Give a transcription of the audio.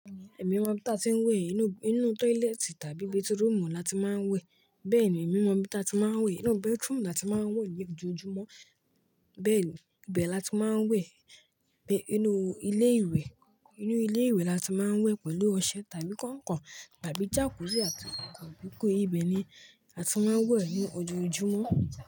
Èmi mo ibí ta tí ń wẹ̀ inú tọ́ílẹ́tì tàbí bathroom la ti máa ń wẹ̀. Bẹ́ẹ̀ ni, emí mọ ibí ta tí máa ń wẹ̀. Inú bedroom la ti máa ń wẹ̀ ní ojoojúmọ́. Bẹ́ẹ̀, ibẹ̀ la ti máa ń wẹ̀. Inú ilé ìwẹ̀ la ti máa ń wẹ̀ pẹ̀lú ọṣẹ tàbí kọ̀nkọ̀n tàbí jacuzzi àti konkon. Ibẹ̀ ni a ti máa ń wẹ̀ ní ojoojúmọ́.